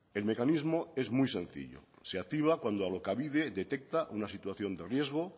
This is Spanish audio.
el mecanismo es muy sencillo se activa cuando alokabide detecta una situación de riesgo